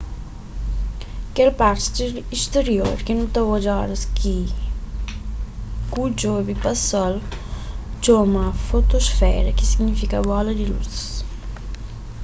kel parti sterior ki nu ta odja oras ki ku djobe pa sol txoma fotosfera ki signifika bola di lus